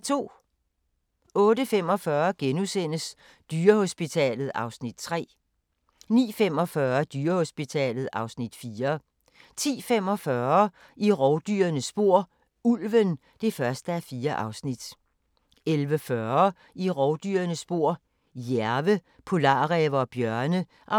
08:45: Dyrehospitalet (Afs. 3)* 09:45: Dyrehospitalet (Afs. 4) 10:45: I rovdyrenes spor: Ulven (1:4) 11:40: I rovdyrenes spor: Jærve, polarræve og bjørne (2:4)